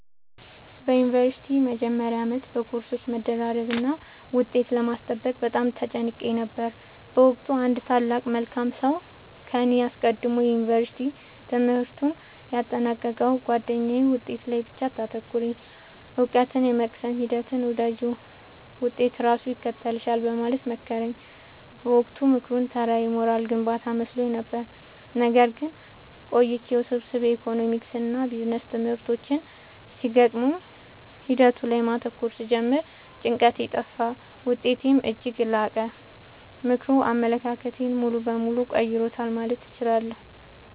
በዩኒቨርሲቲ መጀመሪያ ዓመት በኮርሶች መደራረብና ውጤት ለማስጠበቅ በጣም ተጨንቄ ነበር። በወቅቱ አንድ ታላቅ መልካም ሰው ከኔ ቀድሞ የዩንቨርስቲ ትምህርቱን ያጠናቀቀው ጉአደኛዬ «ውጤት ላይ ብቻ አታተኩሪ: እውቀትን የመቅሰም ሂደቱን ውደጂው፣ ውጤት ራሱ ይከተልሻል» በማለት መከረኝ። በወቅቱ ምክሩ ተራ የሞራል ግንባታ መስሎኝ ነበር። ነገር ግን ቆይቼ ውስብስብ የኢኮኖሚክስና ቢዝነስ ትምህርቶች ሲገጥሙኝ ሂደቱ ላይ ማተኮር ስጀምር ጭንቀቴ ጠፋ: ውጤቴም እጅግ ላቀ። ምክሩ አመለካከቴን ሙሉ በሙሉ ቀይሮታል ማለት እችላለሁ።